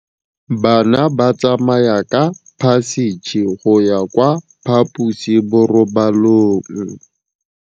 Bana ba tsamaya ka phašitshe go ya kwa phaposiborobalong.